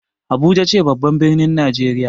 Abuja ce babban ɓirnin najeriya.